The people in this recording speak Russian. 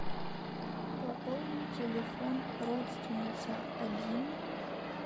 пополни телефон родственница один